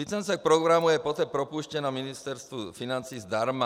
Licence k programu je poté propůjčena Ministerstvu financí zdarma.